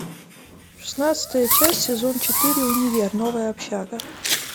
шестнадцатая часть сезон четыре универ новая общага